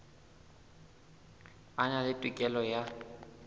a na le tokelo ya